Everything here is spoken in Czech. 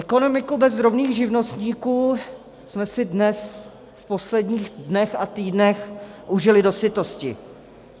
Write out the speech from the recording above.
Ekonomiku bez drobných živnostníků jsme si dnes v posledních dnech a týdnech užili dosytosti.